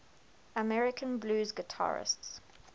american blues guitarists